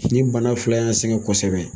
Nin bana fila in y'an sɛgɛn kosɛbɛ.